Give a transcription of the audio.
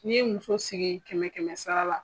N'i ye muso sigi kɛmɛ kɛmɛ sara la.